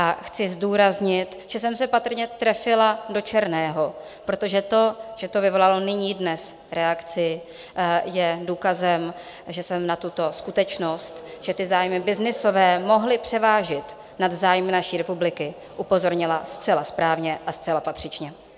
A chci zdůraznit, že jsem se patrně trefila do černého, protože to, že to vyvolalo nyní dnes reakci, je důkazem, že jsem na tuto skutečnost, že ty zájmy byznysové mohly převážit nad zájmy naší republiky, upozornila zcela správně a zcela patřičně.